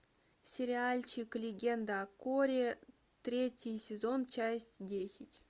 сериальчик легенда о корре третий сезон часть десять